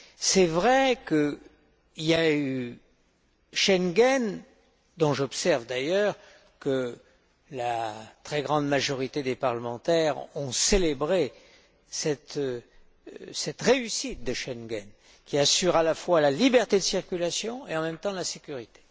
C'est vrai qu'il y a eu Schengen j'observe d'ailleurs que la très grande majorité des parlementaires ont célébré cette réussite de Schengen, qui assure à la fois la liberté de circulation, et en même temps la sécurité.